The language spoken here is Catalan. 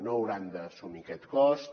no hauran d’assumir aquest cost